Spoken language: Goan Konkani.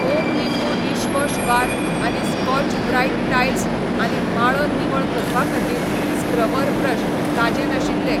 होम लिंबू डिशवॉश बार आनी स्कॉच ब्राईट टायल्स आनी माळो निवळ करपा खातीर स्क्रबर ब्रश ताजें नाशिल्ले.